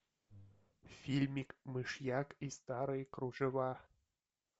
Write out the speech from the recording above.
фильмик мышьяк и старые кружева